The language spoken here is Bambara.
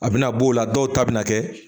A bɛna b'o la dɔw ta bɛ na kɛ